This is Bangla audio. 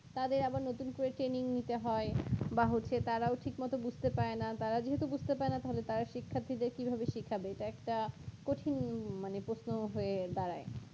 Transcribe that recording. তাদের আবার নতুন করে training নিতে হয় বা হচ্ছে তারাও ঠিকমতো বুঝতে পারেনা তারা যেহেতু বুঝতে পারেনা তাহলে তারা শিক্ষার্থীদের কিভাবে শিক্ষা দেয় এটা একটা কঠিন মানে প্রশ্ন হয়ে দাঁড়ায়